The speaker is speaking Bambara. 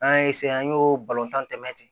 An y'a an y'o tan tɛmɛ ten